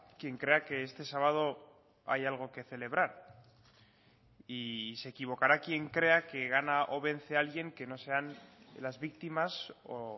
quien crea que este sábado hay algo que celebrar y se equivocará quien crea que gana o vence alguien que no sean las víctimas o